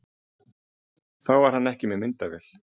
Þá var hann ekki með myndavél